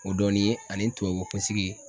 O dɔɔnin ye ani tubabu kunsigi